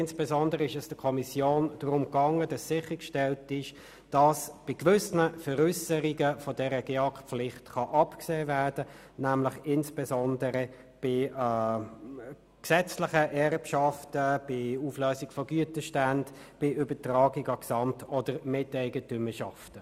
Insbesondere ging es der Kommission darum sicherzustellen, dass bei gewissen Veräusserungen von der GEAK-Pflicht abgesehen werden kann, nämlich insbesondere bei gesetzlichen Erbschaften, bei der Auflösung von Güterständen und bei der Übertragung an Gesamt- oder Miteigentümerschaften.